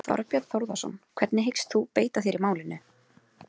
Þorbjörn Þórðarson: Hvernig hyggst þú beita þér í málinu?